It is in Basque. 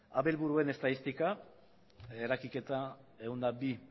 abelburuen estatistika eragiketa ehun eta bi